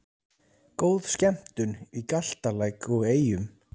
Góð skemmtun í Galtalæk og Eyjum